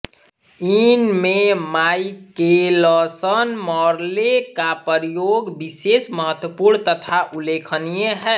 इनमें माइकेलसनमॉर्ले का प्रयोग विशेष महत्वपूर्ण तथा उल्लेखनीय है